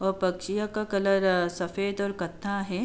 अ पकछिया का कलर अ सफेद और कत्था है।